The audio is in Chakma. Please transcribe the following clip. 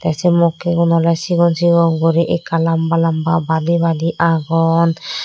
the se mokkigun ole sigon sigon guri ekka lamba lamba badi badi agon.